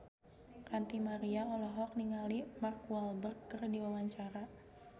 Ranty Maria olohok ningali Mark Walberg keur diwawancara